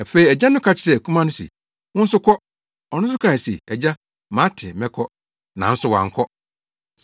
“Afei agya no ka kyerɛɛ akumaa no se, ‘Wo nso kɔ.’ Ɔno nso kae se, ‘Agya, mate, mɛkɔ.’ Nanso wankɔ.